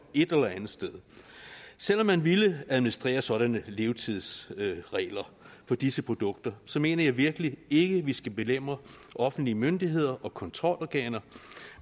et eller andet sted selv om man ville administrere sådanne levetidsregler for disse produkter så mener jeg virkelig ikke at vi skal belemre offentlige myndigheder og kontrolorganer